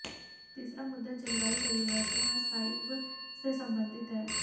तीसरा मुद्दा जलवायु परिवर्तन और स्थायित्व से संबंधित है